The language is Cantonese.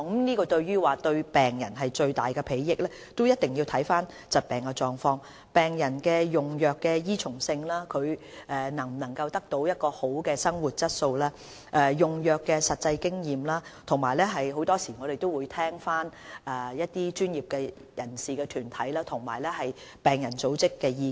至於新藥物是否對病人有最大裨益，必須視乎疾病的狀況、病人用藥的依從性、是否能改善病人的生活質素、用藥的實際經驗等，我們很多時亦會聽取專業人士或團體及病人組織的意見。